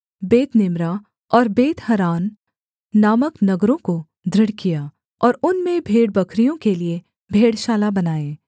Bethnimrah और Bethharan नामक नगरों को दृढ़ किया और उनमें भेड़बकरियों के लिये भेड़शाला बनाए